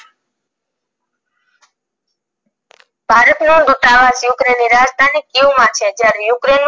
ભારતનો દુતાવાસ ukraine ની રાજધાની કિએવ માં છે જયારે ukraine નું